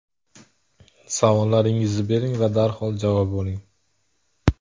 Savollaringizni bering va darhol javob oling.